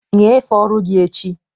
Nyefee ọrụ gị echi!